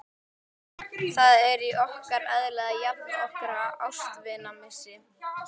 Það er í okkar eðli að jafna okkur á ástvinamissi.